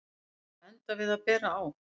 Var að enda við að bera á